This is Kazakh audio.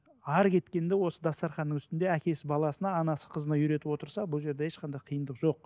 әрі кеткенде осы дастарханның үстінде әкесі баласына анасы қызына үйретіп отырса бұл жерде ешқандай қиындық жоқ